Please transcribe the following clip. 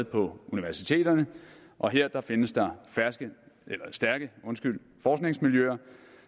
på universiteterne og her findes der stærke forskningsmiljøer